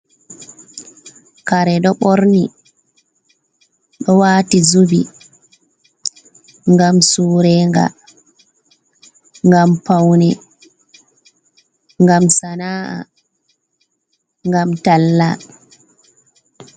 Kare ɗo ɓorni ɗo wati zubi ngam surega, ngam paune, ngam sana’a, ngam talla.